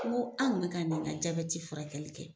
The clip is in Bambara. N ko an ka na ka ɲinɛ ka furakɛli kɛ.